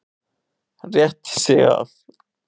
Rétti sig af.